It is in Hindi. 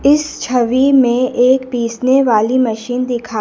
इस छवि में एक पीसने वाली मशीन दिखा--